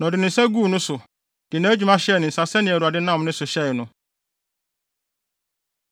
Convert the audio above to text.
Na ɔde ne nsa guu no so, de nʼadwuma hyɛɛ ne nsa sɛnea Awurade nam ne so hyɛe no.